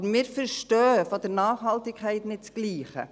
Aber wir verstehen unter Nachhaltigkeit nicht das Gleiche.